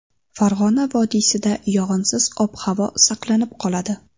Farg‘ona vodiysida yog‘insiz ob-havo saqlanib qoladi.